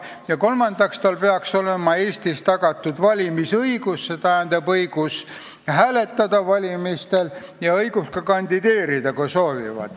Ja kolmandaks, talle peaks olema Eestis tagatud valimisõigus, õigus hääletada valimistel, ja õigus ka kandideerida, kui ta soovib.